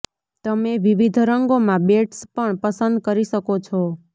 તમે વિવિધ રંગોમાં બેન્ડ્સ પણ પસંદ કરી શકો છો